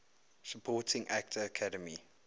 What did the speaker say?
supporting actor academy